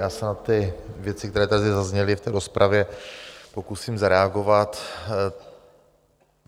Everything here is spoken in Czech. Já se na ty věci, které tady zazněly v té rozpravě, pokusím zareagovat.